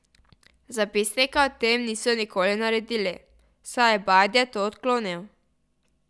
Zapisnika o tem niso nikoli naredili, saj je Bajde to odklonil.